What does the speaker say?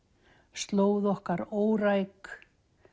slóð okkar óræk